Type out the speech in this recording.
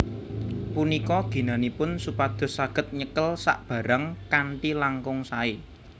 Punika ginanipun supados saged nyekel sabarang kanthi langkung saé